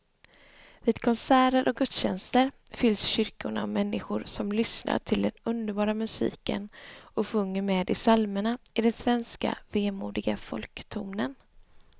Vid konserter och gudstjänster fylls kyrkorna av människor som lyssnar till den underbara musiken och sjunger med i psalmerna i den svenska vemodiga folktonen.